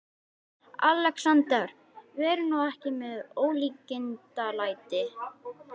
ALEXANDER: Verið nú ekki með ólíkindalæti.